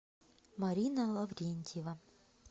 марина лаврентьева